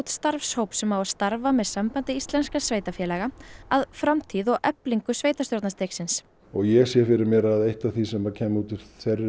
starfshóp sem á að starfa með sambandi íslenskra sveitarfélaga að framtíð og eflingu sveitarstjórnarstigsins og ég sé fyrir mé að eitt að því sem kemur útúr